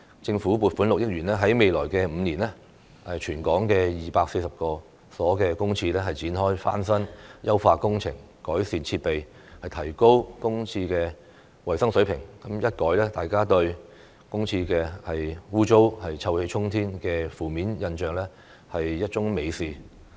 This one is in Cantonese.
政府撥款6億元在未來5年為全港240所公廁展開翻新、優化工程，改善設備，提高公廁的衞生水平，一改大家對公廁骯髒、臭氣沖天的負面印象，是一樁美事。